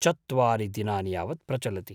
चत्वारि दिनानि यावत् प्रचलति।